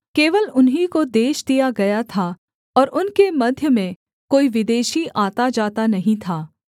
केवल उन्हीं को देश दिया गया था और उनके मध्य में कोई विदेशी आताजाता नहीं था